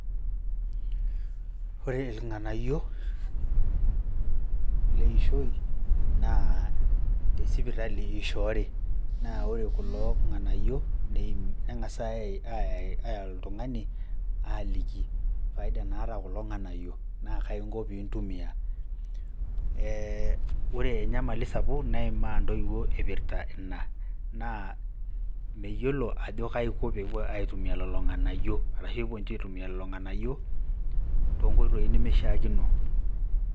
Ore irng'anayio leishoi naa tesipitali ishoori, naa ore kulo ng'anayio neng'asai aliki oltung'ani faida naata kulo ng'anayio naa kaai inko pee intumia ee ore enyamali sapuk neinmaa intoiuo ipirta ina naa meyiolo ajo kaiko peyie epuo aitumia lelo ng'anayio ashu epuo ninche aitumia lelo ng'anayio toonkoitoi nemeishiakino.